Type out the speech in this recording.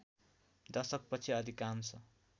दशक पछि अधिकांश